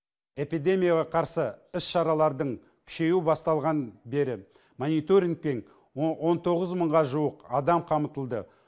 эпидемияға қарсы іс шаралардың күшеюі басталған бері мониторингтен он тоғыз мыңға жуық адам қамытылды